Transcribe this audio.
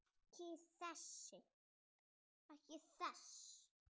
Ekki þess.